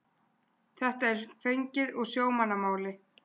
þetta er fengið úr sjómannamáli